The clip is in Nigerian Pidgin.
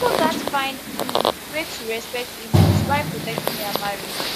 pipo gatz find um way to respect inlaws while protecting their marriage